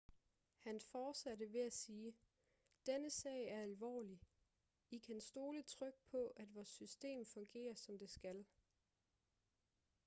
han fortsatte ved at sige denne sag er alvorlig i kan stole trygt på at vores system fungerer som det skal